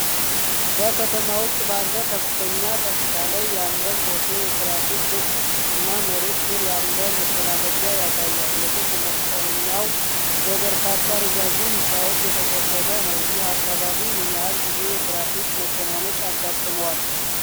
በከተማ ውስጥ ባለ ከፍተኛ ከፍታ ላይ ያለ ፎቶ የትራፊክ ክብ እና መሬት ስር ያለ መተላለፊያ ያሳያል። የክብ መስቀለኛው በበርካታ ረዣዥም ህንፃዎች የተከበበ ነው። ይህ አካባቢ ምን ያህል ጊዜ የትራፊክ መጨናነቅ ያጋጥመዋል?